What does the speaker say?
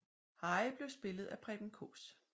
Harry blev spillet af Preben Kaas